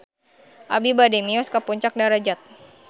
Abi bade mios ka Puncak Darajat